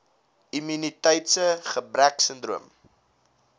immuniteits gebrek sindroom